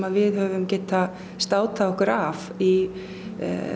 við höfum getað státað okkur af í